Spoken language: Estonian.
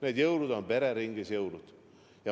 Need jõulud on pereringis jõulud!